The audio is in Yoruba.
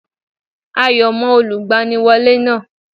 Ayọ̀ mọ Olùgbaniwọ́lé náà